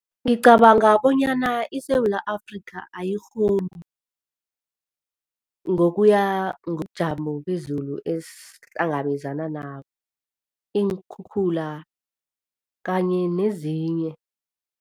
Ngicabanga bonyana iSewula Afrika ayikghoni ngokuya ngobujamo bezulu esihlangabezana nabo, iinkhukhula kanye nezinye.